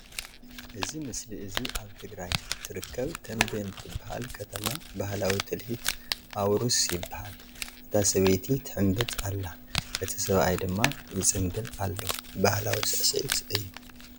እዚ ምስሊ እዚ ኣብ ትግራይ ትርክብ ትንቤን ትብሃል ክትማ ባህላዊ ትልሂት ኣዉርስ ይብሃል እታ ስብይቲ ትሕምብጥ ኣላ እቲ ስብኣይ ድማ ይፅምብል ኣሎ ባህላዊ ስዕዒት እዩ።